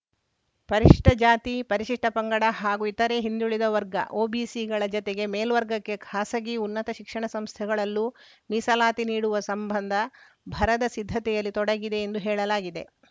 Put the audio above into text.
ಪರಿಶಿಷ್ಟಜಾತಿ ಪರಿಶಿಷ್ಟಪಂಗಡ ಹಾಗೂ ಇತರೆ ಹಿಂದುಳಿದ ವರ್ಗ ಒಬಿಸಿಗಳ ಜತೆಗೆ ಮೇಲ್ವರ್ಗಕ್ಕೆ ಖಾಸಗಿ ಉನ್ನತ ಶಿಕ್ಷಣ ಸಂಸ್ಥೆಗಳಲ್ಲೂ ಮೀಸಲಾತಿ ನೀಡುವ ಸಂಬಂಧ ಭರದ ಸಿದ್ಧತೆಯಲ್ಲಿ ತೊಡಗಿದೆ ಎಂದು ಹೇಳಲಾಗಿದೆ